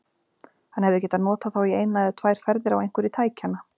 Hann hefði getað notað þá í eina eða tvær ferðir á einhverju tækjanna.